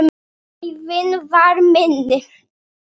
Æðin var minni.